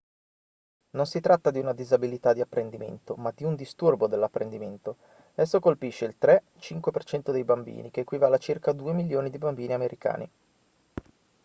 non si tratta di una disabilità di apprendimento ma di un disturbo dell'apprendimento; esso colpisce il 3-5% dei bambini che equivale a circa 2 milioni di bambini americani